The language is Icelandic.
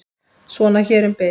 Svona hér um bil.